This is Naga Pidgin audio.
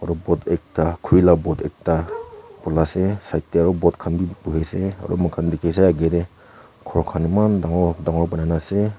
boat ekta khuri laga boat ekta polai asa side tae aru boat khan bi bhui ase aru moi khan dekhi ase agae tae ghor khan eman dangor dangor banai na ase.